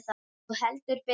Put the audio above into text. Jú, heldur betur